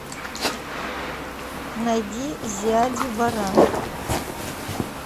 найди зиади баран